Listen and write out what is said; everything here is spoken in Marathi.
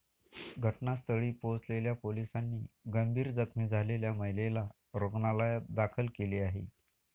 घटनास्थळी पोहोचलेल्या पोलिसांनी गंभीर जखमी झालेल्या महिलेला रुग्णालयात दाखल केली आहे.